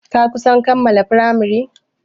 Ka kusan kammala firamari?